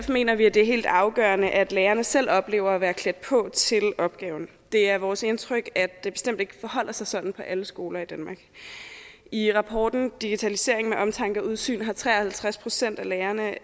mener vi at det er helt afgørende at lærerne selv oplever at være klædt på til opgaven det er vores indtryk at det bestemt ikke forholder sig sådan på alle skoler i danmark i rapporten digitalisering med omtanke og udsyn har tre og halvtreds procent af lærerne